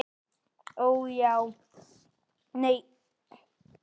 Og já, það gekk ekki.